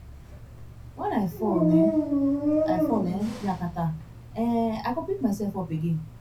wen i fall um i fall um yakata um i go pick myself up again